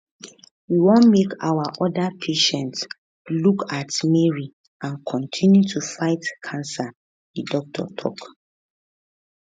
we want make our oda patients look at mary an kontinu to fight cancer di doctor tok